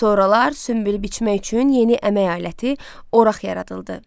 Sonralar sünbül biçmək üçün yeni əmək aləti oraq yaradıldı.